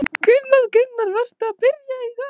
Kristján Már: Varstu að byrja í dag?